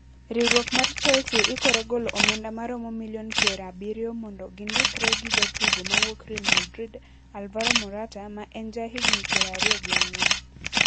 Riwruok mar Chelsea ikore golo omenda maromo milion pier abiriyo mondo gindikre gi jatugo mawuok Real Madrid Alvaro Morata ma en jahigni pier ariyo gi ang`wen.